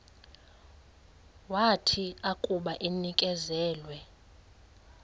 wathi akuba enikezelwe